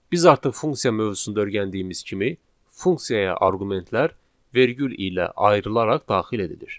Biz artıq funksiya mövzusunda öyrəndiyimiz kimi, funksiyaya arqumentlər vergül ilə ayrılaraq daxil edilir.